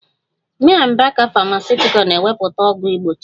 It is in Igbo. May & baker Famakutical na-emepụta ọgwụ mgbochi ịba